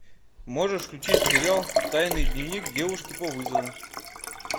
можешь включить сериал тайный дневник девушки по вызову